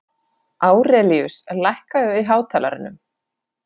Árelíus, lækkaðu í hátalaranum.